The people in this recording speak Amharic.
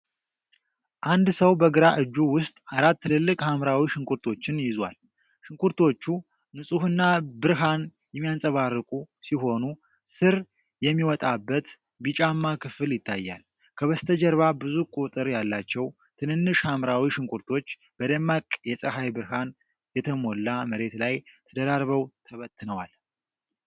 አንድ ሰው በግራ እጁ ውስጥ አራት ትልልቅ ሐምራዊ ሽንኩርቶችን ይዟል። ሽንኩርቶቹ ንፁህና ብርሃን የሚያንጸባርቁ ሲሆኑ፤ ሥር የሚወጣበት ቢጫማ ክፍል ይታያል። ከበስተጀርባ ብዙ ቁጥር ያላቸው ትንንሽ ሐምራዊ ሽንኩርቶች በደማቅ የፀሐይ ብርሃን የተሞላ መሬት ላይ ተደራርበው ተበትነዋል።